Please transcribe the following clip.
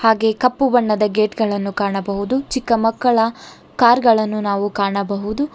ಹಾಗೆ ಕಪ್ಪು ಬಣ್ಣದ ಗೇಟ್ಗಳನ್ನು ಕಾಣಬಹುದು ಮಕ್ಕಳ ಕಾರ್ ಗಳನ್ನು ನಾವು ಕಾಣಬಹುದು.